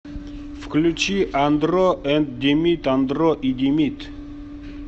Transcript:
включи андро энд димит андро и димит